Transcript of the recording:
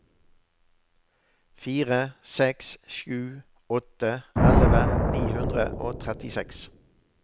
fire seks sju åtte elleve ni hundre og trettiseks